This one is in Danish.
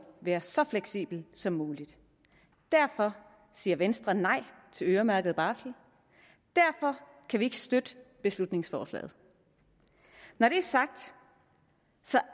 være så fleksibel som muligt derfor siger venstre nej til øremærket barsel derfor kan vi ikke støtte beslutningsforslaget når det er sagt